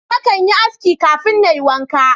Na kan yi aski kafin Na yi wanka.